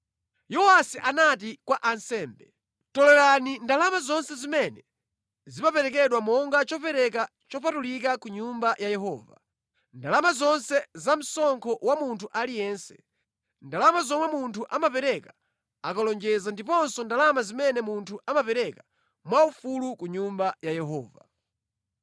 Yowasi anati kwa ansembe, “Tolerani ndalama zonse zimene zimaperekedwa monga chopereka chopatulika ku Nyumba ya Yehova, ndalama zonse zamsonkho wa munthu aliyense, ndalama zomwe munthu amapereka akalonjeza ndiponso ndalama zimene munthu amapereka mwaufulu ku Nyumba ya Yehova.